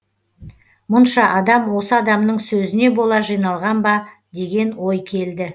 мұнша адам осы адамның сөзіне бола жиналған ба деген ой келді